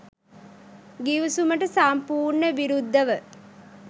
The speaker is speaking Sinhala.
ගිවිසුමට සම්පූර්ණ විරුද්ධව